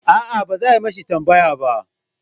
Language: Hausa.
A'a ba za a mishi tambaya ba